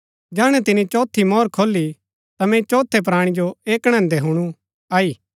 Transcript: जैहणै तिनी चौथी मोहर खोली ता मैंई चौथै प्राणी जो ऐह कणैदैं हुणु आई